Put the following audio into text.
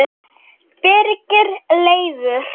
Birgir Leifur